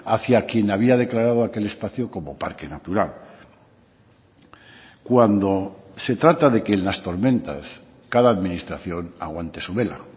hacia quien había declarado aquel espacio como parque natural cuando se trata de que en las tormentas cada administración aguante su vela